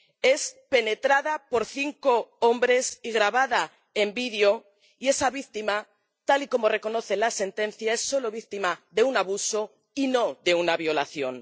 es penetrada por cinco hombres y grabada en vídeo, y esa víctima ‒tal y como reconoce la sentencia‒ es solo víctima de un abuso y no de una violación.